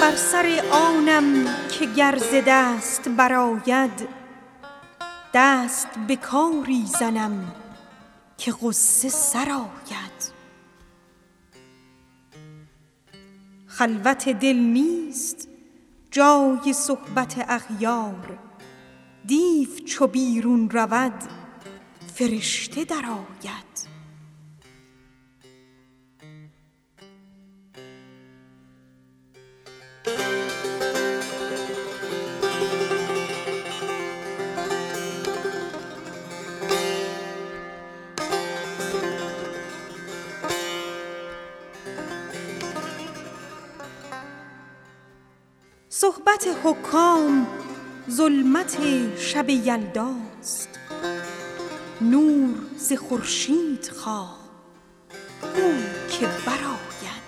بر سر آنم که گر ز دست برآید دست به کاری زنم که غصه سرآید خلوت دل نیست جای صحبت اضداد دیو چو بیرون رود فرشته درآید صحبت حکام ظلمت شب یلداست نور ز خورشید جوی بو که برآید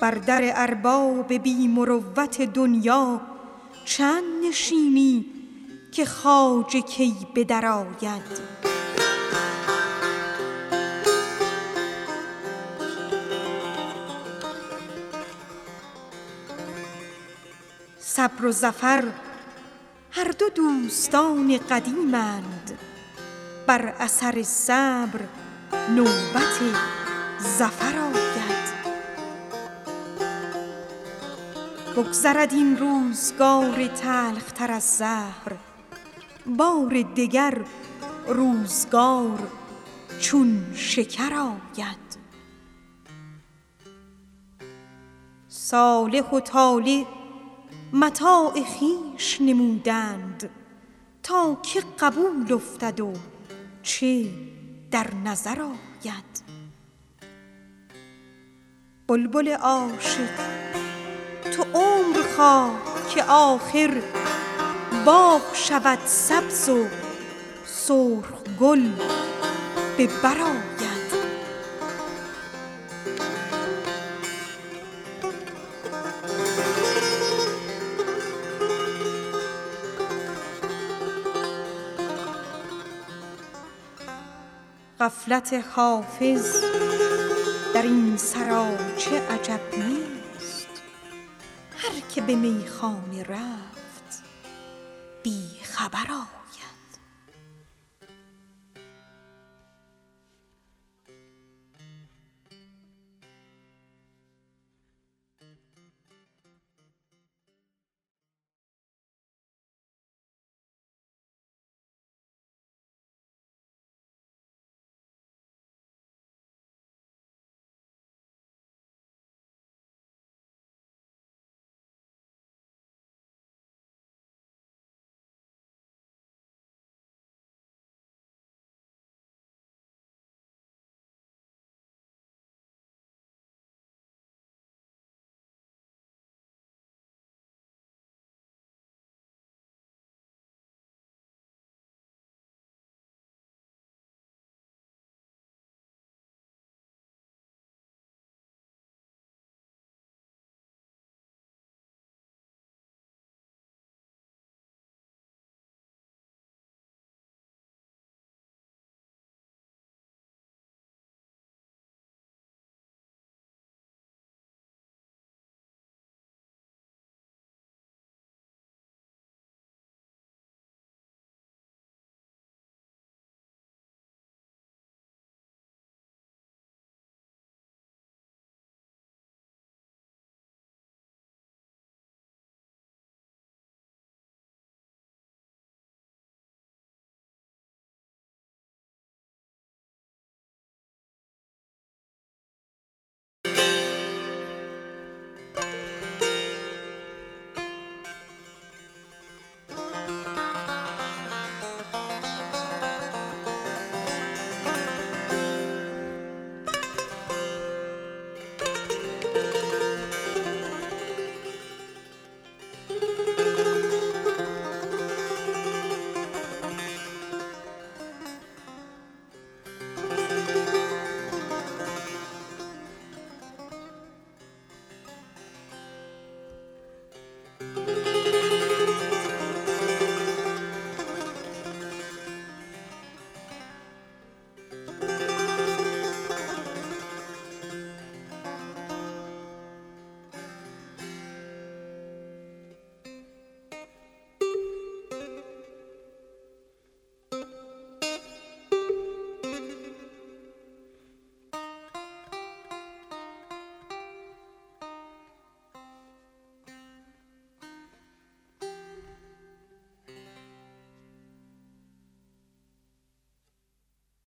بر در ارباب بی مروت دنیا چند نشینی که خواجه کی به درآید ترک گدایی مکن که گنج بیابی از نظر رهروی که در گذر آید صالح و طالح متاع خویش نمودند تا که قبول افتد و که در نظر آید بلبل عاشق تو عمر خواه که آخر باغ شود سبز و شاخ گل به بر آید غفلت حافظ در این سراچه عجب نیست هر که به میخانه رفت بی خبر آید